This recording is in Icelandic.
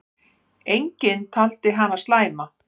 Enginn taldi hana slæma.